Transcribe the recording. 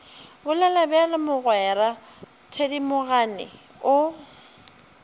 bolela bjalo mogwera thedimogane o